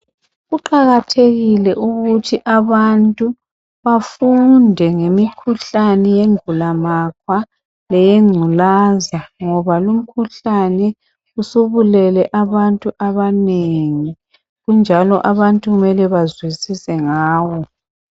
Kuqakathekile ukuthi abantu bafunde ngemikhuhlane yengulamakhwa leyengculaza ngoba lumkhuhlane usubulele abantu abanengi kunjalo abantu kumele bazwisise ngawo.